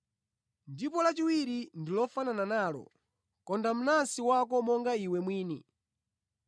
Ndipo lachiwiri ndi lofanana nalo: ‘Konda mnansi wako monga iwe mwini.’